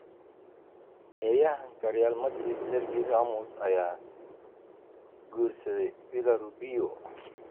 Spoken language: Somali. Ciyaaryahanka Real Madrid Sergei Ramos ayaa guursaday Pilar Rubio